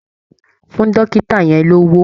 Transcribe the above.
Fún dọ́kìtà yẹn lówó!